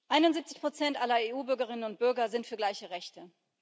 71 aller EU Bürgerinnen und Bürger sind für gleiche Rechte.